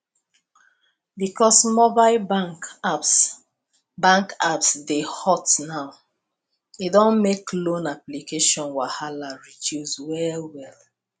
because mobile bank apps bank apps dey hot now e don make loan application wahala reduce well well